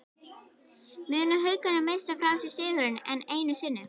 Munu Haukarnir missa frá sér sigurinn, enn einu sinni???